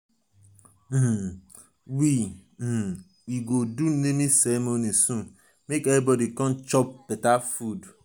um we um we go do naming ceremony soon make everybodi come chop.